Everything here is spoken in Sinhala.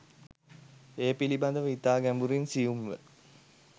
ඒ පිළිබඳ ව ඉතා ගැඹුරින් සියුම් ව